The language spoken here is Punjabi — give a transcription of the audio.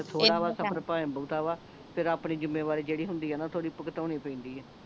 ਥੋੜਾ ਆਪਣੇ ਤਾ ਵਾ ਫੇਰ ਆਪਣੀ ਜਿੱਮੇਵਾਰੀ ਜਿਹੜੀ ਹੁੰਦੀ ਆ ਨਾ ਥੋੜੀ ਭੁਗਤਾਉਣੀ ਪੈਂਦੀ ਆ